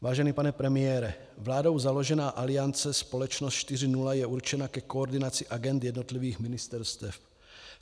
Vážený pane premiére, vládou založená Aliance Společnost 4.0 je určena ke koordinaci agend jednotlivých ministerstev.